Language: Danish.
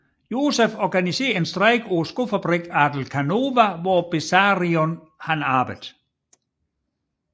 Josef organiserede en strejke på skofabrikken Adelkhanova hvor Besarion arbejdede